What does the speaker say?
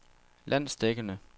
landsdækkende